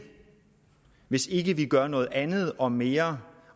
hvis ikke vi gør noget andet og mere